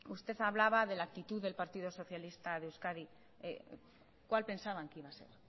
usted hablaba de la actitud del partido socialista de euskadi cuál pensaban que iba a ser